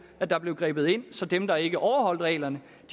at der blev grebet ind så dem der ikke overholder reglerne